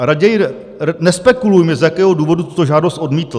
A raději nespekulujme, z jakého důvodu tuto žádost odmítl.